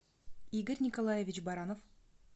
игорь николаевич баранов